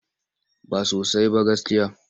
Ba sosai ba gaskiya.